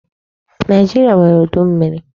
Nigeria nwèrè udu mmmiri.